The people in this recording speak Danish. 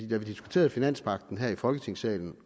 da vi diskuterede finanspagten her i folketingssalen